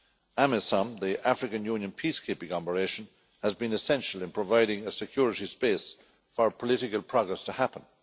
AMISOM, the African Union's peace keeping operation, has been essential in providing a security space for political progress to happen.